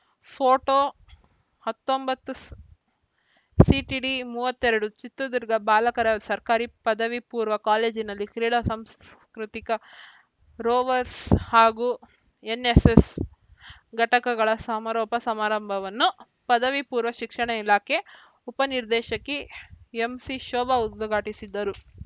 photo ಹತ್ತೊಂಬತ್ತು CTD ಮೂವತ್ತೆರಡು ಚಿತ್ರದುರ್ಗ ಬಾಲಕರ ಸರ್ಕಾರಿ ಪದವಿ ಪೂರ್ವ ಕಾಲೇಜಿನಲ್ಲಿ ಕ್ರೀಡಾ ಸಾಂಸ್ಕೃತಿಕ ರೋವರ್ಸ್ ಹಾಗೂ ಎನ್‌ಎಸ್‌ಎಸ್‌ ಘಟಕಗಳ ಸಮಾರೋಪ ಸಮಾರಂಭವನ್ನು ಪದವಿ ಪೂರ್ವ ಶಿಕ್ಷಣ ಇಲಾಖೆ ಉಪನಿರ್ದೇಶಕಿ ಎಂಸಿಶೋಭಾ ಉದ್ಘಾಟಿಸಿದರು